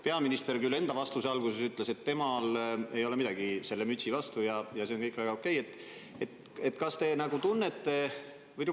Peaminister enda vastuse alguses küll ütles, et temal ei ole midagi selle mütsi vastu ja see kõik on väga okei.